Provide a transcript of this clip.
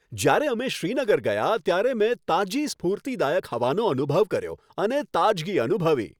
જ્યારે અમે શ્રીનગર ગયા ત્યારે મેં તાજી સ્ફૂર્તિદાયક હવાનો અનુભવ કર્યો અને તાજગી અનુભવી.